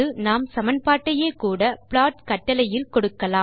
அல்லது நாம் சமன்பாட்டையே கூட ப்ளாட் கட்டளையில் கொடுக்கலாம்